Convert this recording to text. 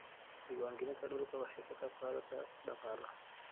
Diiwaangelinta dhulku waxay ka qayb qaadataa dhaqaalaha.